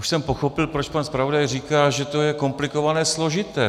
Už jsem pochopil, proč pan zpravodaj říká, že to je komplikované, složité.